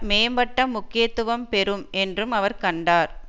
மேம்பட்ட முக்கியத்துவம் பெறும் என்றும் அவர் கண்டார்